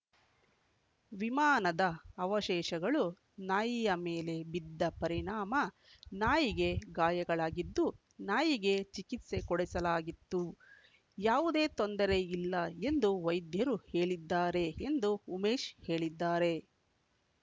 ವಿಮಾನದ ಅವಶೇಷಗಳು ನಾಯಿಯ ಮೇಲೆ ಬಿದ್ದ ಪರಿಣಾಮ ನಾಯಿಗೆ ಗಾಯಗಳಾಗಿದ್ದು ನಾಯಿಗೆ ಚಿಕಿತ್ಸೆ ಕೊಡಿಸಲಾಗಿದ್ದು ಯಾವುದೇ ತೊಂದರೆ ಇಲ್ಲ ಎಂದು ವೈದ್ಯರು ಹೇಳಿದ್ದಾರೆ ಎಂದು ಉಮೇಶ್‌ ಹೇಳಿದ್ದಾರೆ